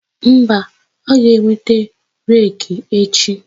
Mba, ọ ga-eweta reki echi.